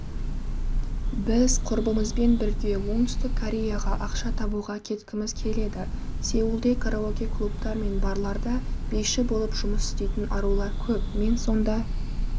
біз құрбымызбен бірге оңтүстік кореяға ақша табуға кеткіміз келеді сеулде караоке-клубтар мен барларда биші болып жұмыс істейтін арулар көп мен сонда